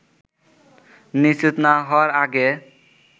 নিশ্চিত না হওয়ার আগে